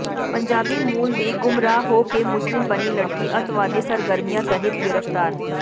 ਪੰਜਾਬੀ ਮੂਲ ਦੀ ਗੁੰਮਰਾਹ ਹੋ ਕੇ ਮੁਸਲਿਮ ਬਣੀ ਲੜਕੀ ਅੱਤਵਾਦੀ ਸਰਗਰਮੀਆਂ ਤਹਿਤ ਗਿ੍ਫ਼ਤਾਰ